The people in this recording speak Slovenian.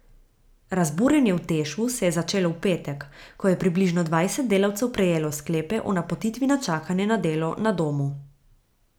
Razburjenje v Tešu se je začelo v petek, ko je približno dvajset delavcev prejelo sklepe o napotitvi na čakanje na delo na domu.